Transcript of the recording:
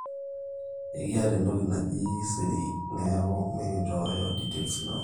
ekiata entoki naaji siri neeku mikinchooyo details inono